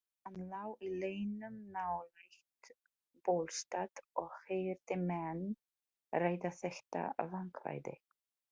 Hann lá í leynum nálægt Bólstað og heyrði menn ræða þetta vandkvæði.